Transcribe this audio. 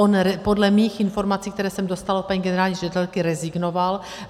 On podle mých informací, které jsem dostala od paní generální ředitelky, rezignoval.